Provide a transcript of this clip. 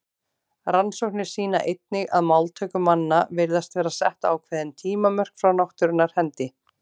Rannsóknir sýna einnig að máltöku manna virðast vera sett ákveðin tímamörk frá náttúrunnar hendi.